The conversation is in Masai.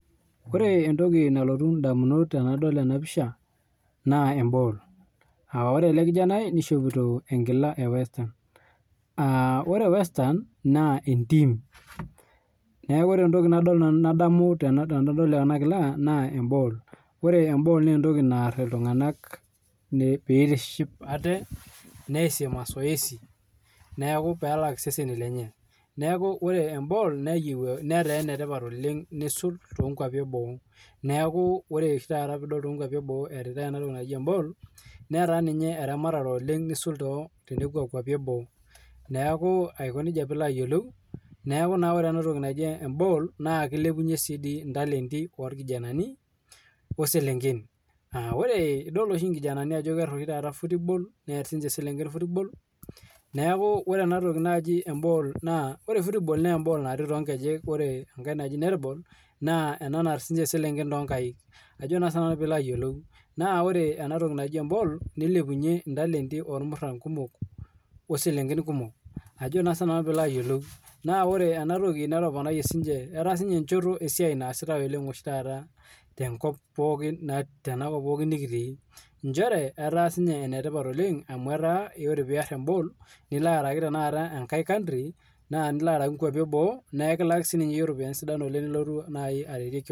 Ore entoki nalotu edamunot ainei tenadol ena pisha naa ee ball aa ore ele kijanani nishopito enkila we westham ore westham naa entiim neeku ore ntoki nadamu nanu tenadol ena kila naa eball ore eball naa entoki naara iltung'ana pee etiship ate neasi mazoezi pee elak seseni lenye neeku ore eball netaa enetipat oleng nisul too nkwapii eboo neeku oree peidol eritai enatoki too nkwapii eboo netaa ninye eramatare nisulaki too nkwapii eboo neeku ore ena toki naaji eball naa kilepunye ntalenti irkijanani oselenken edol oshi taata irkijanani Ajo kear football near siniche eselenken neeku ore football naa eball naati too nkejek ore enkae naaji netball naa enkae naar eselenken too nkaik naa ore ena toki naaji eball nilepunye ntalenti ormuran kumok oselenken kumok naa ore ena toki etaa esiai sapuk naasitae tenakop nikitii njere etaa sininye enetipat amu etaa ore piar eball niloo araki enkae country naa nilo araki nkwapii eboo naa ekilaki sininye peyie eropiani kumok nilotu aeetie kewon